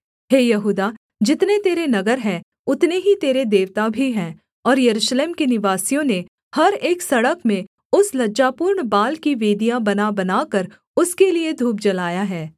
हे यहूदा जितने तेरे नगर हैं उतने ही तेरे देवता भी हैं और यरूशलेम के निवासियों ने हर एक सड़क में उस लज्जापूर्ण बाल की वेदियाँ बनाबनाकर उसके लिये धूप जलाया है